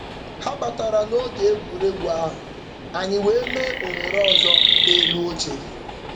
Ha batara n'oge egwuregwu ahụ, anyị wee mee ohere ọzọ n'elu oche.